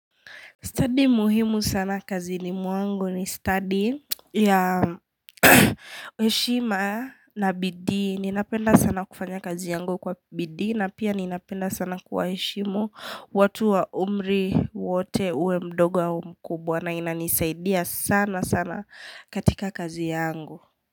Stadi muhimu sana kazi ni muangu ni stadi ya heshima na bidii. Ninapenda sana kufanya kazi yangu kwa bidii na pia ninapenda sana kuwaheshimu watu wa umri wote uwe mdogo au mkubwa na inanisaidia sana sana katika kazi yangu.